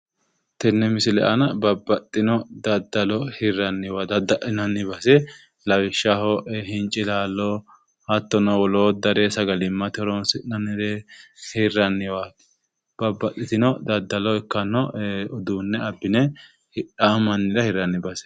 tenne misile aana babbaxxino daddalo hirranniwa dadda'linaniwa gede lawishsho hincilallo hattono woloottare sagalimmate horonsi'nannire hirranniwa babbaxxitino daddaloho ikkatano uduunne abbine hidhaa mannira hirranni baseeti